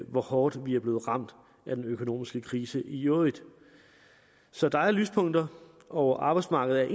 hvor hårdt vi er blevet ramt af den økonomiske krise i øvrigt så der er lyspunkter og arbejdsmarkedet